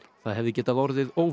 það hefði getað orðið